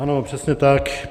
Ano, přesně tak.